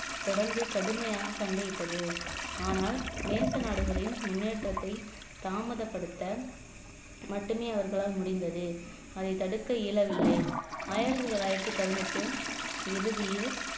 தொடர்ந்து கடுமையாக சண்டையிட்டது ஆனால் நேச நாடுகளின் முன்னேற்றத்தை தாமதப்படுத்த மட்டுமே அவர்களால் முடிந்தது அதை தடுக்க இயலவில்லை ஆயிரத்தி தொள்ளாயிரத்தி பதினெட்டு இறுதியில்